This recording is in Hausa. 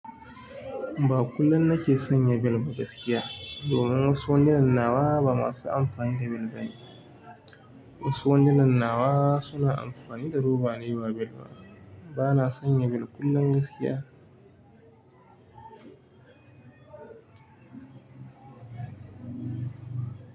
Ba kullum nake sanya bel gaskiya, domin wasu wandunan nawa ba masu amfani da bel bane. Wasu wandunan nawa suna amfani da roba ne ba bel ba. Bana sanya bel kullum gaskiya.